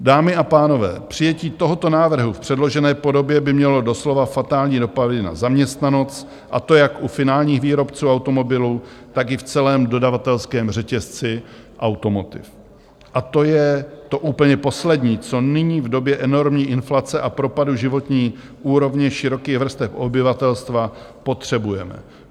Dámy a pánové, přijetí tohoto návrhu v předložené podobě by mělo doslova fatální dopady na zaměstnanost, a to jak u finálních výrobců automobilů, tak i v celém dodavatelském řetězci automotiv, a to je to úplně poslední, co nyní v době enormní inflace a propadu životní úrovně širokých vrstev obyvatelstva potřebujeme.